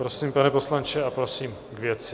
Prosím, pane poslanče, a prosím k věci.